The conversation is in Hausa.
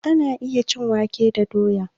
Ana iya cin wake da doya